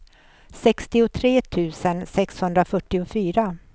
sextiotre tusen sexhundrafyrtiofyra